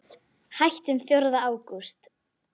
Hættum fjórða ágúst.